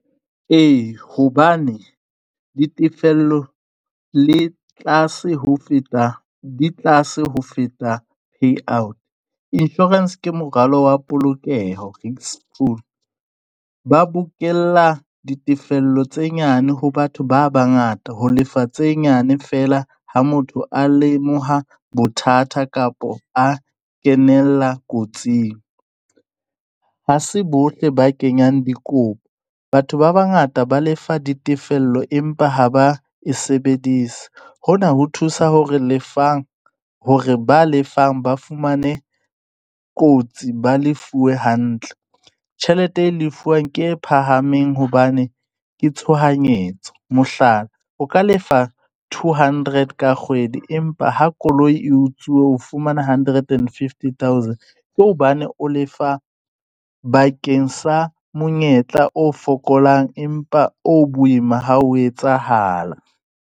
Ee, hobane ditefello le tlase ho feta, di tlase ho feta pay out. Insurance ke moralo wa polokeho school. Ba bokella ditefello tse nyane ho batho ba bangata ho lefa tse nyane feela, ha motho a lemoha bothata kapa a kenella kotsing. Ha se bohle ba kenyang dikopo. Batho ba bangata ba lefa ditefello empa ha ba e sebedise. Hona ho thusa hore lefang hore ba lefang ba fumane kotsi ba lefuwe hantle. Tjhelete e lefuwang ke e phahameng hobane ke tshohanyetso. Mohlala, o ka lefa two hundred ka kgwedi, empa ha koloi e utsuwe, o fumana hundred and fifty thousand. Ke hobane o lefa bakeng sa monyetla o fokolang empa o boima ha o etsahala.